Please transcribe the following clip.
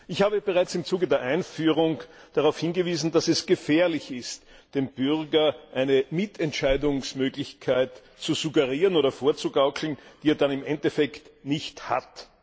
Ich habe bereits im Zuge der Einführung darauf hingewiesen, dass es gefährlich ist, dem Bürger eine Mitentscheidungsmöglichkeit zu suggerieren oder vorzugaukeln, die er dann im Endeffekt nicht hat.